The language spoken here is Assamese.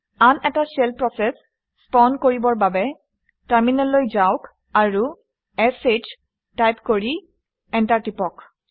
আন এটা শ্বেল প্ৰচেচ স্পাউন কৰিবৰ বাবে টাৰমিনেললৈ যাওক আৰু শ টাইপ কৰি এণ্টাৰ টিপক